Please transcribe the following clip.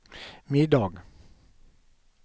middag